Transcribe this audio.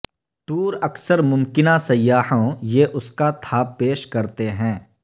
tour اکثر ممکنہ سیاحوں یہ اس کا تھا پیش کرتے ہیں